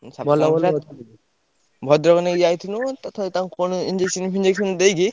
ଭଦ୍ରକ ନେଇକି ଯାଇଥିଲୁ ତଥାପି ତାଙ୍କୁ କଣ injection ଫିଞ୍ଜେକସନ ଦେଇକି।